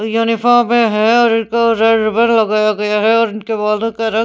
uniform पे है और इनको रेड रिबन लगाया गया है और इनके बालों का रंग--